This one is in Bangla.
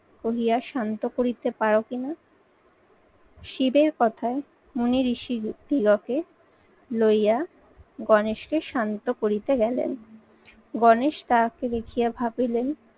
বলিয়া শান্ত করিতে পারো কিনা। শিবের কথায় মুনিঋষি দিগকে লইয়া গণেশকে শান্ত করিতে গেলেন। গণেশ তাঁকে দেখিয়ে ভাবিলেন